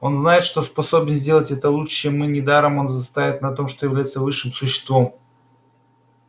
он знает что способен сделать это лучше чем мы недаром он настаивает на том что является высшим существом